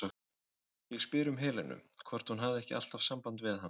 Ég spyr um Helenu, hvort hún hafi ekki alltaf samband við hana?